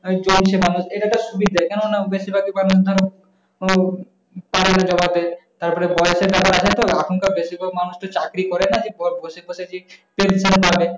চলছে না এইটা একটা সুবিধে কেন না বেশিভাগি মানুষ ধরো ও পারেনা জমাতে। তারপরে বয়সের ব্যাপার আছে তো এখনকার বেশিরভাগ মানুষের চাকুরি করে না যে বসে বসে যে pension পাবে।